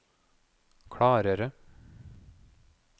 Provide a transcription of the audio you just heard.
klarere